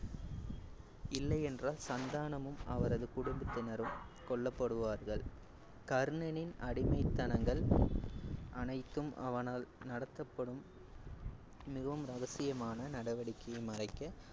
இல்லையென்றால், சந்தானமும் அவரது குடும்பத்தினரும் கொல்லப்படுவார்கள். கர்ணனின் அடிமைத்தனங்கள் அனைத்தும் அவனால் நடத்தப்படும் மிகவும் ரகசியமான நடவடிகையை மறைக்க